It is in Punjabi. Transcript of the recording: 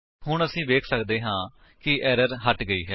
ਹੁਣ ਅਸੀ ਵੇਖ ਸੱਕਦੇ ਹਾਂ ਕਿ ਐਰਰ ਹਟ ਗਈ ਹੈ